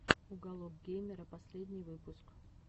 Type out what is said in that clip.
уголок геймера последний выпуск